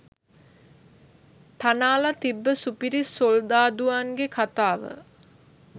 තනාල තිබ්බ සුපිරි සොල්දාදුවන්ගෙ කතාව